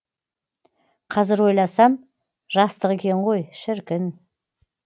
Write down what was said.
қазір ойласам жастық екен ғой шіркін